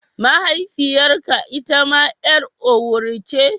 Mahaifiyarka itama 'yar Owerri ce?